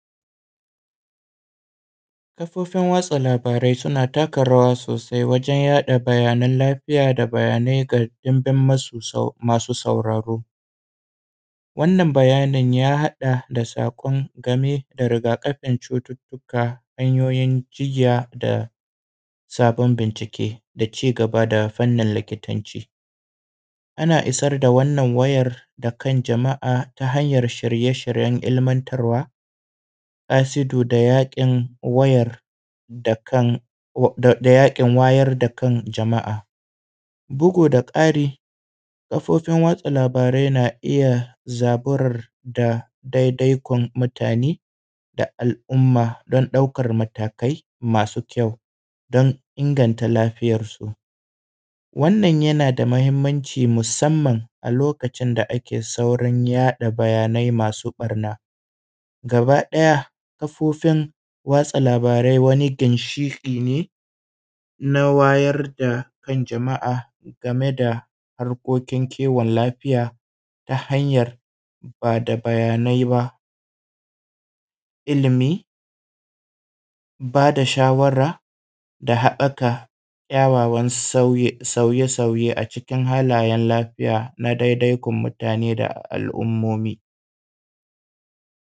kafofin watsa labarai suna taka rawa sosai wajen yaɗa bayanan lafiya da bayanai ga dimbin masu sauraro wannan bayanin ya haɗa da saƙon game da rigakafin cututtuka hanyoyin cigiya da sabon bincike da cigaba da fannin likitanci ana isar da wannan wayar da kan jama'a ta hanyan shirye shiryen ilimantarwa ashidu da yaƙin wayar da kan jama’a bugu da ƙari kafofin watsa labarai na iya zaburar da ɗai ɗai kun mutane da al'umma don ɗaukan matakai masu kyau don inganta lafiyar su wannan yana da muhimmanci musamman a lokacin da ake saurin yaɗa bayanai masu ɓarna gaba ɗaya kafofin watsa labarai wani ginshiƙi ne na wayar da kan jama'a game da harkokin kiwon lafiya ta hanyar ba da bayanai ba ilimi ba da shawara da haɓɓaka kyawawan sauye sauye a cikin halayen lafiya na ɗai ɗai kun mutane da al'ummomi